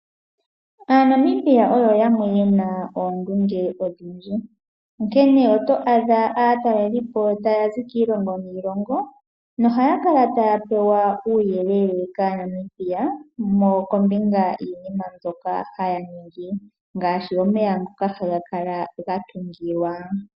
AaNamibia oyo yamwe yena oondunge odhindji onkene oyo adha aatalelelipo ta yazi kiilongo niilongo nohaya kala taya pewa uuyelele kaaNamibia kombinga yiinima mbyoka haya ningi ngaashi omeya ngoka haga kala gatungilwa.